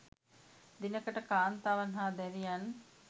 දිනකට කාන්තාවන් හා දැරියන්